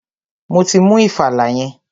Mo ti mú ìfàlà yẹn.